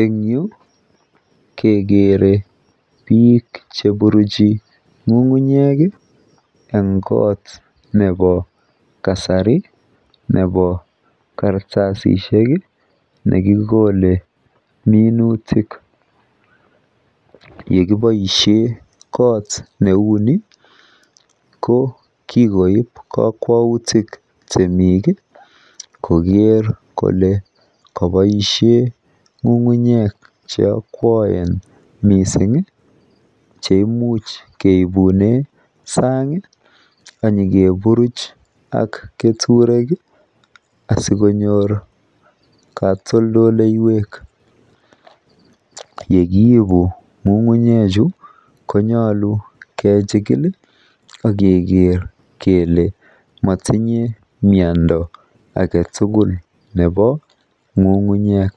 en yuu kegere biik cheburuchi ngungunyeek en koot nebo kasari nebo kartasisiek iih nekikole minutik, yegiboishen koot neuu ni ko kigoib kokwoutik temiik iih kogeer kole koboishen ngungunyek cheokwoen mising cheimuch keibunen saang iih ak nyegeburuch ak keturek iih sigonyoor katoldoleyweek, yegiibu ngungunyek chu konyolu kechigil iih ak kegeer kele motinye myondo agetugul nebo ngungunyek,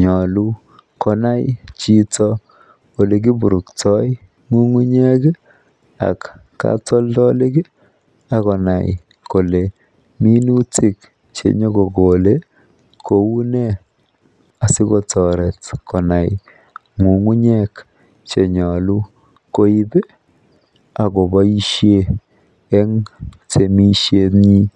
nyolu konai konai chito olegiburkto ngugunyeek iih ak katoldolik iih ak konai kole minutik chenyagokole kounee asigotoret konai ngungunyek chenyolu koib iih agoboishen en temishet nyiin.